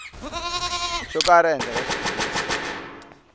ko karhi ehenhla ka xitiviso